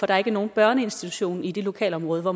der ikke er nogen børneinstitution i det lokalområde hvor